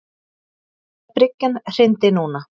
Ef bryggjan hryndi núna.